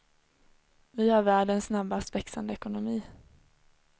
Vi har världens snabbast växande ekonomi.